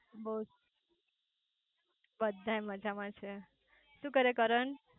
બોલ બધાય મજામાં છે. શુ કરે છે કરણ?